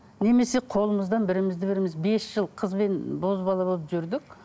немесе қолымыздан бірімізді біріміз бес жыл қыз бен бозбала болып жүрдік